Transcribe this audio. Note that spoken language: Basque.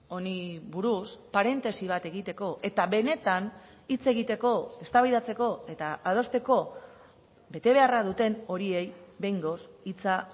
honi buruz parentesi bat egiteko eta benetan hitz egiteko eztabaidatzeko eta adosteko betebeharra duten horiei behingoz hitza